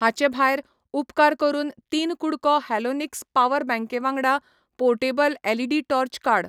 हाचे भायर, उपकार करून 3 कु़डको हॅलोनिक्स पावर बँके वांगडा पोर्टेबल एलईडी टॉर्च काड.